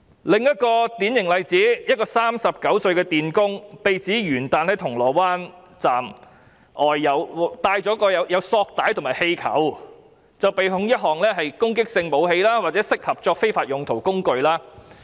另一個典型例子，一個39歲的電工被指元旦在銅鑼灣站外管有索帶和氣球，被控一項管有攻擊性武器或適合作非法用途的工具。